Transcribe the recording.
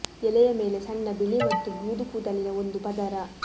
ಎಲೆಯ ಮೇಲೆ ಸಣ್ಣ ಬಿಳಿ ಮತ್ತು ಬೂದು ಕೂದಲಿನ ಒಂದು ಪದರ